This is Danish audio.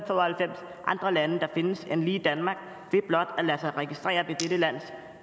og halvfems andre lande der findes end lige danmark ved blot at lade sig registrere ved dette lands